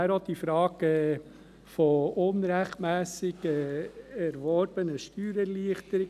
Auch die Frage nach der unrechtmässig erworbenen Steuererleichterung: